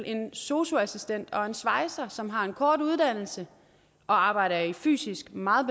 en sosu assistent og en svejser som begge har en kort uddannelse og arbejder i fysisk meget